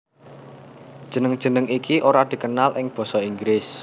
Jeneng jeneng iki ora dikenal ing basa Inggris